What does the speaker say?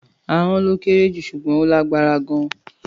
Àhon lo kẹrẹ jú sugbon ò làgbàrá gàn.